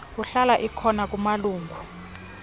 kuhlala ikhona kumalungu